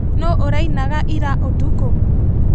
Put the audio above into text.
Nũ ũrainaga ira ũtukũ?